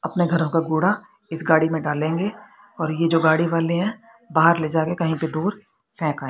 अपने घरों का कूड़ा इस गाड़ी में डालेंगे और ये जो गाड़ी वाले हैं बाहर ले जाकर कहीं पे दूर फेंक आए--